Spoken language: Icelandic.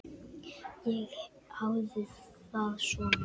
Ég hafði það svona.